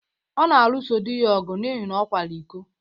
Ọ na-alụso di ya ọgụ n’ihi na ọ kwara iko.